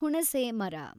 ಹುಣುುಸೆ ಮರ